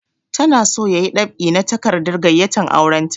Ta na so ya yi dab'i na takardar gayyatan auren ta